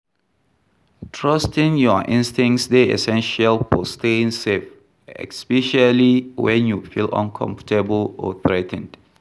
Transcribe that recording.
Trusting your instincts dey essential for staying safe, especially when you feel uncomfortable or threa ten ed.